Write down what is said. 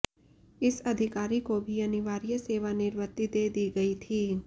इस अधिकारी को भी अनिवार्य सेवानिवृत्ति दे दी गई थी